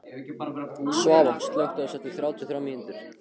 Svava, slökktu á þessu eftir þrjátíu og þrjár mínútur.